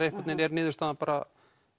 einhvern veginn er niðurstaðan bara